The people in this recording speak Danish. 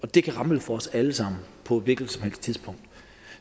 det kan ramle for os alle sammen på et hvilket